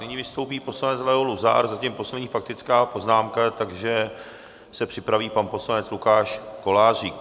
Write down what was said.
Nyní vystoupí poslanec Leo Luzar, zatím poslední faktická poznámka, takže se připraví pan poslanec Lukáš Kolářík.